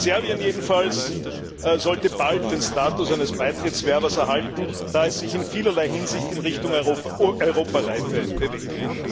Serbien jedenfalls sollte bald den Status eines Beitrittswerbers erhalten, da es sich in vielerlei Hinsicht in Richtung Europareife bewegt.